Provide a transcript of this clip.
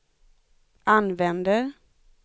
använder